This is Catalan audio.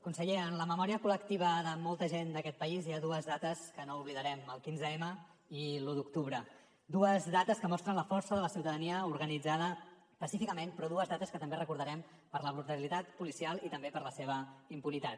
conseller en la memòria col·lectiva de molta gent d’aquest país hi ha dues dates que no oblidarem el quinze m i l’u d’octubre dues dates que mostren la força de la ciutadania organitzada pacíficament però dues dates que també recordarem per la brutalitat policial i també per la seva impunitat